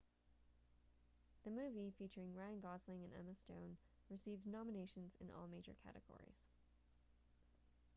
the movie featuring ryan gosling and emma stone received nominations in all major categories